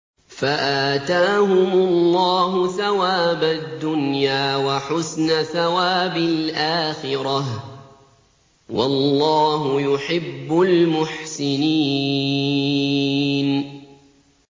فَآتَاهُمُ اللَّهُ ثَوَابَ الدُّنْيَا وَحُسْنَ ثَوَابِ الْآخِرَةِ ۗ وَاللَّهُ يُحِبُّ الْمُحْسِنِينَ